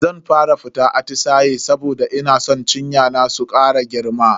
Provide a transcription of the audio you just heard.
Zan fara fita atisaye saboda ina san cinya na su kara girma.